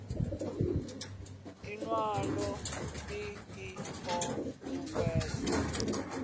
iwalo ii i o uuwedza